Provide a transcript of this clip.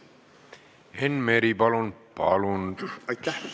Enn Meri, palun!